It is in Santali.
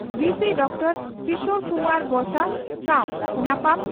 ᱵᱷᱤᱥᱤ ᱰᱚᱠᱴᱚᱨᱹ ᱠᱤᱥᱚᱨ ᱠᱩᱢᱟᱨ ᱵᱚᱥᱟ ᱥᱟᱣ ᱧᱟᱯᱟᱢ